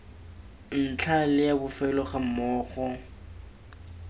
ntlha le a bofelo gammogo